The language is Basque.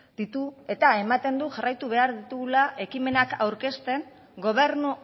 ditu eta ematen du jarraitu behar ditugula ekimenak aurkezten gobernu